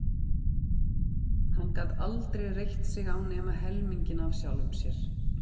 Hann gat aldrei reitt sig á nema helminginn af sjálfum sér.